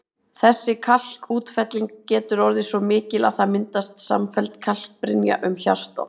Þessi kalkútfelling getur orðið svo mikil að það myndist samfelld kalkbrynja um hjartað.